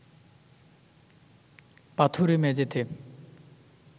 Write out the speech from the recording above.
পাথুরে মেঝেতে